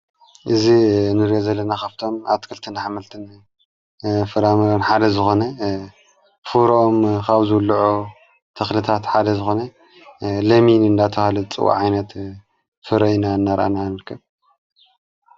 እዝ ንሬዘለና ኻፍቶም ኣትክልትን ኃመልትን ፍራምሮን ሓደ ዝኾነ ፍሮም ኻውዘሉዑ ተኽልታት ሓደ ዝኾነ ለሚን እንዳትብሃል ዝጽዋዕ ዓይነት ፍረይ እንርኣኢ ንርከብ።